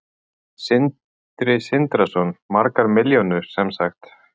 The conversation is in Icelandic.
Sindri Sindrason: Margar milljónir sem sagt?